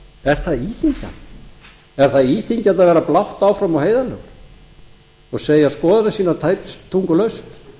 er það íþyngjandi er það íþyngjandi að vera blátt áfram og heiðarlegur og segja skoðun sína tæpitungulaust